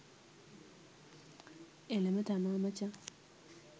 එලම තමා මචං